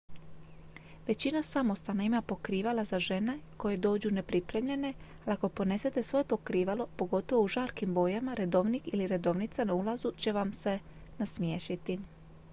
većina samostana ima pokrivala za žene koje dođu nepripremljene ali ako ponesete svoje pokrivalo pogotovo u žarkim bojama redovnik ili redovnica na ulazu će vam se nasmiješiti